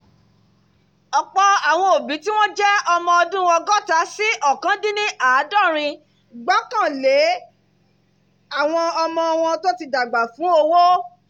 ọ̀pọ̀ àwọn òbí tí wọ́n jẹ́ ọmọ ọdún ọgọ́ta sí ókàn-dín-ní-àádọ́rin gbarale àwọn ọmọ wọn tó ti dàgbà fún owó